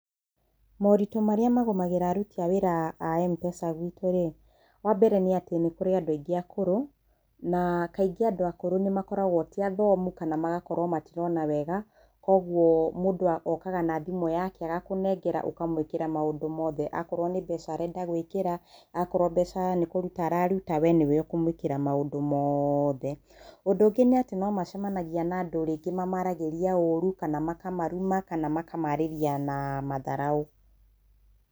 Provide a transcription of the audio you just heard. Maũritu marĩa magomagĩra aruti a wĩra a MPESA gwitũ rĩ, wa mbere nĩ atĩ, nĩ kũrĩ andũ aingĩ akũrũ, na kaingĩ andũ akũrũ nĩ makoragwo ti athomu kana magakorwo matirona wega. Kwoguo, mũndũ okaga na thimũ yake agakũnengera ũkamwĩkĩra maũndũ mothe. Akorwo nĩ mbeca arenda gwĩkĩra, akorwo mbeca nĩ kũruta araruta, we nĩ we ũkũmwĩkĩra maũndũ mothe. Ũndũ ũngĩ nĩ atĩ no macemanagia na andũ rĩngĩ mamaaragĩria ũru, kana makamaruma, kana makamaarĩria na matharaũ.